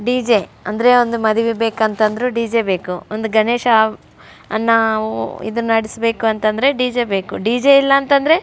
DJ ಅಂದ್ರೆ ಒಂದು ಮದುವೆಗೆ ಬೇಕಂದ್ರು ಡಿಜೆ ಬೇಕು ಒಂದು ಗಣೇಶನ ಅನ್ನ ನಾವು ಇದ್ಮಾಡ್ಬೇಕಂದ್ರು ಡಿಜೆ ಬೇಕು ಡಿಜೆ ಇಲ್ಲಾ ಅಂತಂದ್ರೆ --